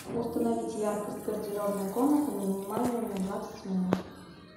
установить яркость гардеробная комната на минимальную на двадцать минут